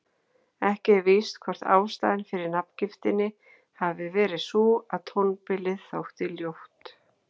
Ekki er víst hvort ástæðan fyrir nafngiftinni hafi verið sú að tónbilið þótti ljótt.